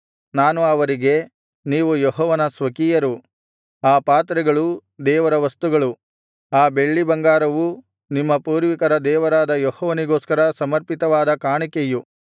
ನಾನು ಅವರಿಗೆ ನೀವು ಯೆಹೋವನ ಸ್ವಕೀಯರು ಆ ಪಾತ್ರೆಗಳೂ ದೇವರ ವಸ್ತುಗಳು ಆ ಬೆಳ್ಳಿಬಂಗಾರವೂ ನಿಮ್ಮ ಪೂರ್ವಿಕರ ದೇವರಾದ ಯೆಹೋವನಿಗೋಸ್ಕರ ಸಮರ್ಪಿತವಾದ ಕಾಣಿಕೆಯು